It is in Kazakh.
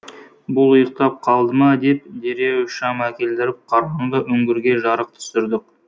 бұл ұйықтап қалды ма деп дереу шам әкелдіріп қараңғы үңгірге жарық түсірдік